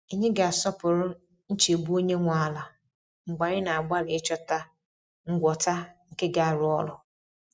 Anyị ga-asọpụrụ nchegbu onye nwe ala mgbe anyị na-agbalị ịchọta ngwọta nke ga-arụ ọrụ.